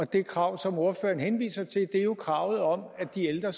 det krav som ordføreren henviser til er jo kravet om at de ældre